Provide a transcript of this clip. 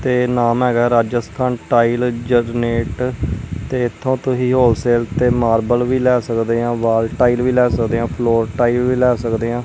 ਤੇ ਨਾਮ ਹੈਗਾ ਰਾਜਸਥਾਨ ਟਾਇਲ ਜਨਰੇਟ ਤੇ ਇਥੋਂ ਤੁਸੀਂ ਹੋਲਸੇਲ ਤੇ ਮਾਰਬਲ ਵੀ ਲੈ ਸਕਦੇ ਆ ਵਾਲ ਟਾਈਲ ਵੀ ਲੈ ਸਕਦੇ ਆ ਫਲੋਰ ਵੀ ਲੈ ਸਕਦੇ ਆਂ।